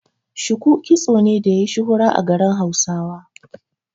Shuku kitso ne da yayi shuhura a garin Hausawa.